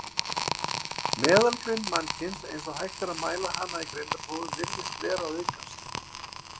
Meðalgreind mannkyns, eins og hægt er að mæla hana í greindarprófum, virðist vera að aukast.